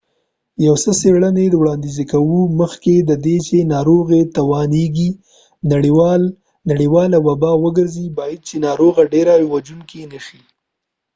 یو څه څیړنی وړانديز کوي مخکې ددې چې ناروغی وتوانیږی نړیواله وبا وګرځی باید چې ناروغی ډیره وژونکې نه شي